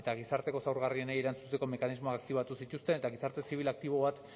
gizarteko zaurgarrienei erantzuteko mekanismoa aktibatu zituzten eta gizarte zibil aktibo bat